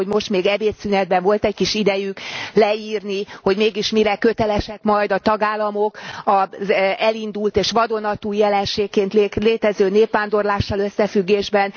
Gondolom, hogy most még ebédszünetben volt egy kis idejük leírni, hogy mégis mire kötelesek majd a tagállamok az elindult és vadonatúj jelenségként létező népvándorlással összefüggésben.